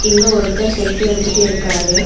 இங்க ஒருத்தர் செல்ஃபி எடுத்துட்டு இருக்காரு.